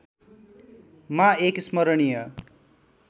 मा एक स्मरणीय